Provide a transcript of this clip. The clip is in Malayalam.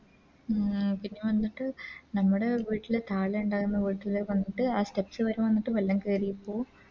ഉം പിന്നെ വന്നിട്ട് നമ്മുടെ വീട്ടില് താലേ ഉണ്ടായിരുന്ന വീട്ടില് വന്നിട്ട് ആ Steps വരെ വന്നിട്ട് വെള്ളം കേറിപ്പു